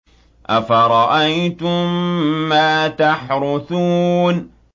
أَفَرَأَيْتُم مَّا تَحْرُثُونَ